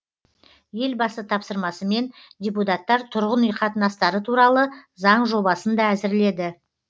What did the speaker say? елбасы тапсырмасымен депутаттар тұрғын үй қатынастары туралы заң жобасын да әзірледі